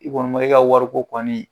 I kɔni ma, e ka wariko kɔni,